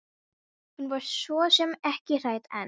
Hún var svo sem ekki hrædd en.